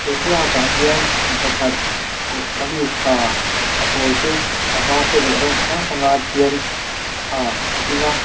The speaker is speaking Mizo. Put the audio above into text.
he thlalakah hian mi pakhat kawh kamis ha a pawl te a var te leh rawng chi hrang hrang a tial ha a ding a.